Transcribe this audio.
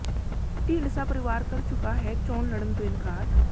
ਢੀਂਡਸਾ ਪਰਿਵਾਰ ਕਰ ਚੁੱਕਾ ਹੈ ਚੋਣ ਲੜਨ ਤੋਂ ਇਨਕਾਰ